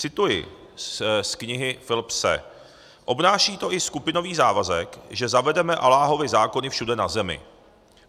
Cituji z knihy Philipse: "Obnáší to i skupinový závazek, že zavedeme Alláhovy zákony všude na zemi.